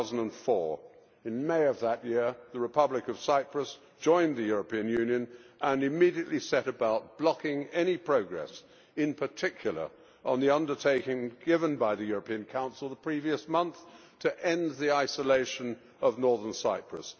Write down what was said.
2004. In May of that year, the Republic of Cyprus joined the European Union and immediately set about blocking any progress, in particular on the undertaking given by the European Council the previous month to end the isolation of northern Cyprus.